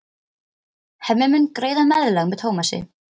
Hemmi mun greiða meðlag með Tómasi.